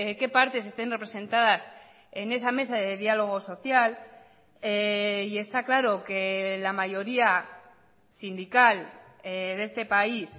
qué partes estén representadas en esa mesa de diálogo social y está claro que la mayoría sindical de este país